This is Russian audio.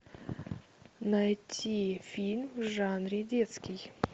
найти фильм в жанре детский